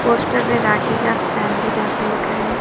Post Marathi का family dhaba लिखा है।